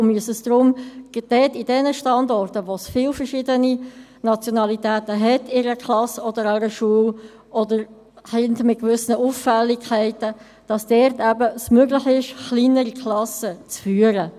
Wir müssen deshalb schauen, dass es gerade an jenen Standorten, wo viele verschiedene Nationalitäten an einer Schule oder in einer Klasse vertreten sind oder sich Kinder mit gewissen Auffälligkeiten befinden, möglich ist, kleinere Klassen zu führen.